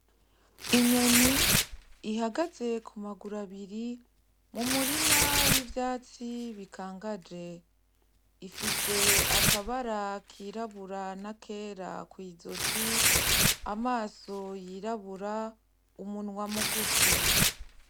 Inyoni ihagaze kumaguru abiri m'umurima w'ivyatsi bikangaje. Ifise akabara kirabura n'akera kw'izosi, amaso yirabura, umunwa mugufi.